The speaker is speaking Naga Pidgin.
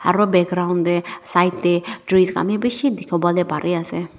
aro background tae side tae trees kahn bi bishi dikhiwolae parease.